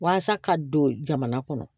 Walasa ka don jamana kɔnɔ